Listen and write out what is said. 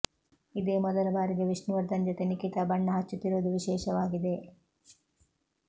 ಇದೇ ಮೊದಲ ಬಾರಿಗೆ ವಿಷ್ಣು ವರ್ಧನ್ ಜೊತೆ ನಿಖಿತಾ ಬಣ್ಣ ಹಚ್ಚುತ್ತಿರುವುದು ವಿಶೇಷವಾಗಿದೆ